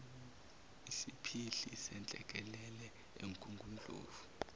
isiphihli senhlekelele emgungundlovu